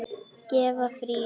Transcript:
Gefa frí.